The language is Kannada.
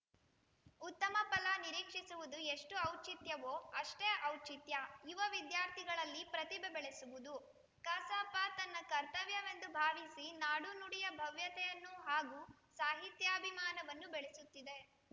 ಉತ್ತಮ ಫಲ ನಿರೀಕ್ಷಿಸುವುದು ಎಷ್ಟು ಔಚಿತ್ಯವೋ ಅಷ್ಟೇ ಔಚಿತ್ಯ ಯುವ ವಿದ್ಯಾರ್ಥಿಗಳಲ್ಲಿ ಪ್ರತಿಭೆ ಬೆಳೆಸುವುದು ಕಸಾಪ ತನ್ನ ಕರ್ತವ್ಯವೆಂದು ಭಾವಿಸಿ ನಾಡು ನುಡಿಯ ಭವ್ಯತೆಯನ್ನು ಹಾಗೂ ಸಾಹಿತ್ಯಾಭಿಮಾನವನ್ನು ಬೆಳೆಸುತ್ತಿದೆ